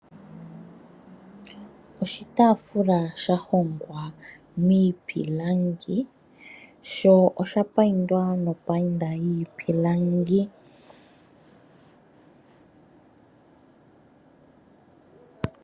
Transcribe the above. Oshitaafula shahongwa miipilangi sho oshapayindwa nopayinda yiipilangi.